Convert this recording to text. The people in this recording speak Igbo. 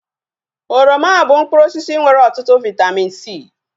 Oroma bụ mkpụrụ osisi nwere ọtụtụ vaitamin C